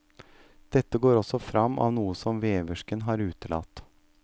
Dette går også fram av noe som veversken har utelatt.